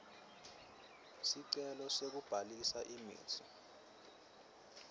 sicelo sekubhalisa imitsi